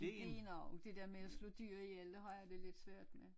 Idéen om der med at slå dyr ihjel det har jeg det lidt svært med